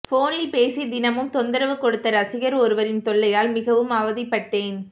போனில் பேசி தினமும் தொந்தரவு கொடுத்த ரசிகர் ஒருவரின் தொல்லையால் மிகவும் அவதிப்பட்டேன்